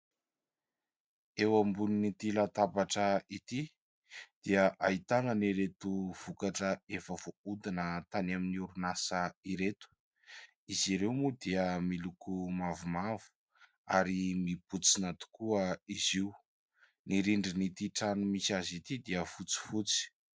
Eo ambon'ity latabatra ity dia ahitana an'ireto vokatra efa voahodina tany amin'ny orinasa ireto. Izy ireo moa dia miloko mavomavo ary mibontsina tokoa izy io. Ny rindrin'ity trano misy azy ity dia fotsifotsy.